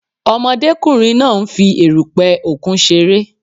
Ọmọdékùnrin náà nfi erùpè òkun ṣeré